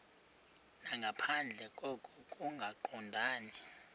nangaphandle koko kungaqondani